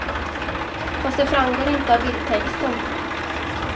Fast det framgår inte av bildtexten.